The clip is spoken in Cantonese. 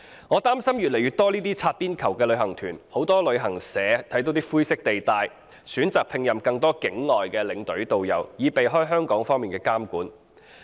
我擔心會出現越來越多這類"擦邊球"的旅行團，很多旅行社看見灰色地帶，選擇聘任更多境外領隊和導遊，以避開香港方面的監管。